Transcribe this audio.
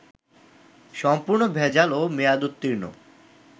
সম্পূর্ণ ভেজাল ও মেয়াদউর্ত্তীন্ন